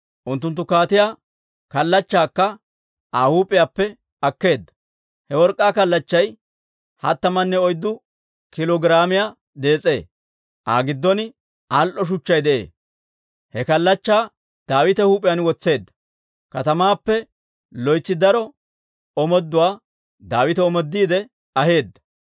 Unttunttu kaatiyaa kallachchaakka Aa huup'iyaappe akkeedda. He work'k'aa kallachchay hattamanne oyddu kiilo giraamiyaa dees'ee; Aa giddon al"o shuchchay de'ee. He kallachchaa Daawita huup'iyaan wotseedda. Katamaappe loytsi daro omooduwaa Daawite omoodiide aheedda.